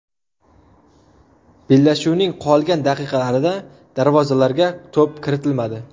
Bellashuvning qolgan daqiqalarida darvozalarga to‘p kiritilmadi.